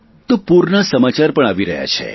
તો પૂરના સમાચાર પણ આવી રહ્યા છે